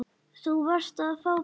Þú varst að fá bréf.